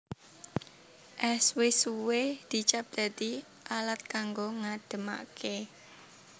Ès wis suwe dicap dadi alat kanggo ngademaké